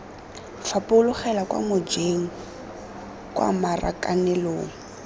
fapogela kwa mojeng kwa marakanelong